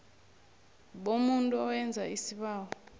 bomuntu owenza isibawo